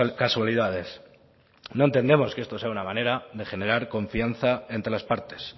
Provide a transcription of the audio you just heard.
casualidades no entendemos que esto sea una manera de generar confianza entre las partes